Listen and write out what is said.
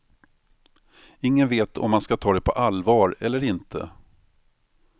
Ingen vet om man ska ta det på allvar eller inte.